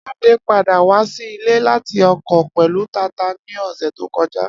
Ade pada wa si ile lati oko pẹlu tata ni ọsẹ to kọja.